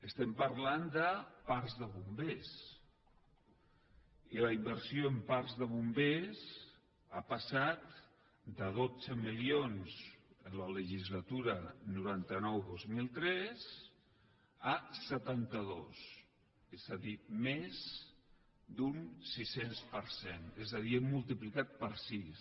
estem parlant de parcs de bombers i la inversió en parcs de bombers ha passat de dotze milions en la legislatura noranta nou dos mil tres a setanta dos és a dir més d’un sis cents per cent és a dir hem multiplicat per sis